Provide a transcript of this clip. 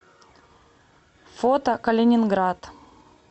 фото калининград